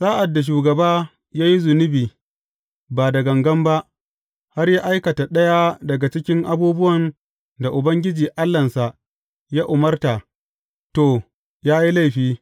Sa’ad da shugaba ya yi zunubi ba da gangan ba, har ya aikata ɗaya daga cikin abubuwan da Ubangiji Allahnsa ya umarta, to, ya yi laifi.